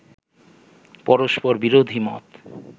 পরস্পর বিরোধী মত